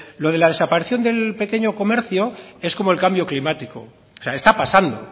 lo de la desaparición del pequeño comercio es como el cambio climático está pasando